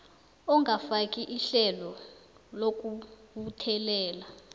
ongafaki ihlelo lokubuthelela